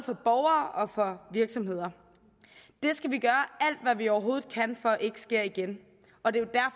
virksomheder det skal vi gøre alt hvad vi overhovedet kan for ikke sker igen og det er